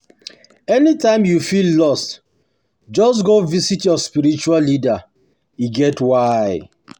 anytime you feel lost, just go visit your spiritual leader, e get why